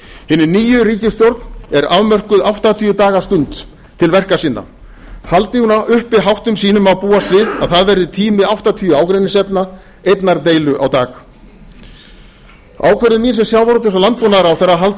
hinni nýju ríkisstjórn er afmörkuð áttatíu daga stund til verka sinna haldi hún uppi háttum sínum má búast við að það verði tími áttatíu ágreiningsefna einnar deilu á dag ákvörðun mín sem landbúnaðar og sjávarútvegsráðherra að halda